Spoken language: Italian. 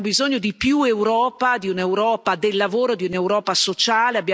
Invece abbiamo bisogno di più Europa, di un'Europa del lavoro, di un'Europa sociale.